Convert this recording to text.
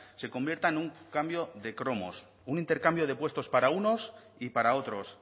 se convierta en un cambio de cromos un intercambio de puestos para unos y para otros